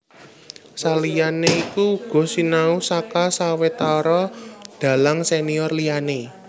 Saliyané iku uga sinau saka sawetara dhalang senior liyané